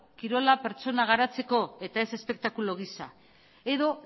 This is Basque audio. kirola pertsona garatzeko eta ez espektakulu gisa edo